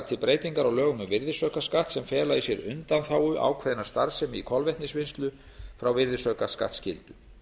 til breytingar á lögum um virðisaukaskatt sem fela í sér undanþágu ákveðinnar starfsemi í kolvetnisvinnslu frá virðisaukaskattsskyldu